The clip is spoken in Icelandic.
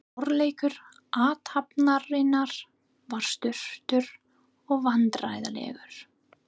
Forleikur athafnarinnar var stuttur og vandræðalegur.